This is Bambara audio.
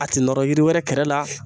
A tɛ nɔrɔ yiri wɛrɛ kɛrɛ la